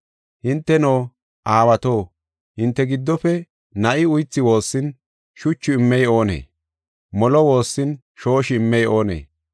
“Hinteno, aawato hinte giddofe na7i uythi woossin, shuchu immey oonee? Molo woossin shooshi immey oonee?